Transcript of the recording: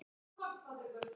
Eru þau eftir þig?